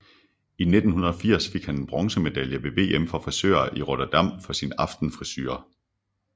I 1980 fik han en bronzemedalje ved VM for frisører i Rotterdam for sin Aftenfrisure